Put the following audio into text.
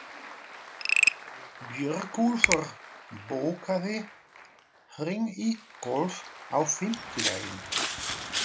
Björgúlfur, bókaðu hring í golf á fimmtudaginn.